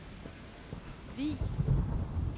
Vig